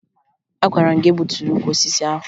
Agwara m gị egbutula ukwu osisi ahụ!